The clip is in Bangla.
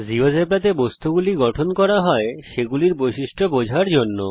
জীয়োজেব্রাতে বস্তুগুলি গঠন করা হয় সেগুলির বৈশিষ্ট্য বোঝার জন্য